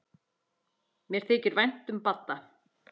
Mér þykir vænt um Badda.